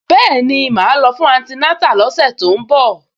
Bẹ́ẹ̀ni, màá lọ fún antinátà lọ́sẹ̀ tó ń bọ̀